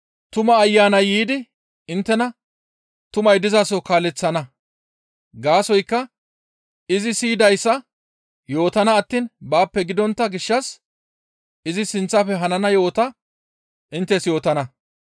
Tuma Ayanay yiidi inttena tumay dizaso kaaleththana; gaasoykka izi siyidayssa yootana attiin baappe gidontta gishshas izi sinththafe hanana yo7ota inttes yootana.